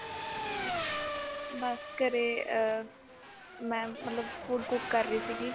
ਬਸ ਘਰੇ ਅਹ ਮੈਂ ਮਤਲਬ food cook ਕਰ ਰਹੀ ਸੀ